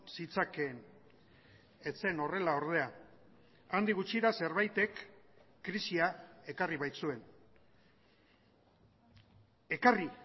zitzakeen ez zen horrela ordea handik gutxira zerbaitek krisia ekarri baitzuen ekarri